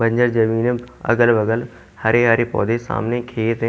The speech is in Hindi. बंजर जमीन अगल-बगल हरे-हरे पौधे सामने खेत है।